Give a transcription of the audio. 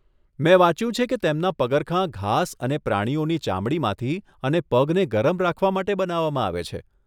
મેં વાંચ્યું છે કે તેમના પગરખાં ઘાસ અને પ્રાણીઓની ચામડીમાંથી અને પગને ગરમ રાખવા માટે બનાવવામાં આવે છે.